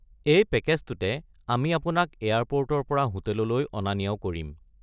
এই পেকেজটোতে আমি আপোনাক এয়াৰপৰ্টৰ পৰা হোটেললৈ অনা নিয়াও কৰিম।